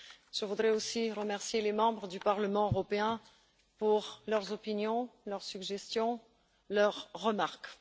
Je voudrais aussi remercier les membres du Parlement européen pour leurs opinions, leurs suggestions et leurs remarques.